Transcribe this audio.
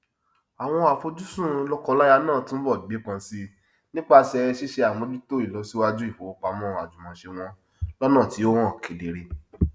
àwọn àfojùsùn lọkọláya náà túnbọ gbépọn sí i nípasẹ ṣíṣe àmójútó ìlọsíwájú ìfowópamọ àjùmọṣe wọn lọnà tí ó hàn kedere